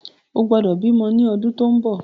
O gbọ́dọ̀ bímọ ni ọdún tó ń bọ̀!